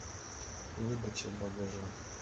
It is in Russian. выдача багажа